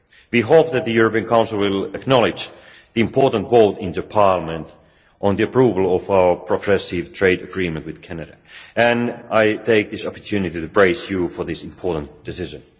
We hope that the European Council will acknowledge the important vote in Parliament on the approval of our progressive trade agreement with Canada and I take this opportunity to praise you for this important decision.